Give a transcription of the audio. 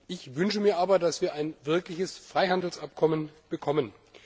Ich wünsche mir aber, dass wir ein wirkliches Freihandelsabkommen bekommen.